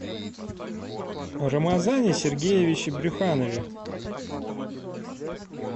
рамазане сергеевиче брюханове